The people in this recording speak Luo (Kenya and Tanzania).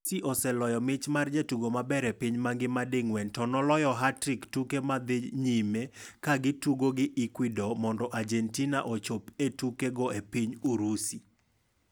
Messi, oseloyo mich mar jatugo maber e higa e piny mangima ding'wen to noloyo hat-trick tuke mad dhi nyime kagi tugo gi Ecuador mondo Argentina ochop e tuke go e piny Urusi.